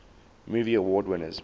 movie award winners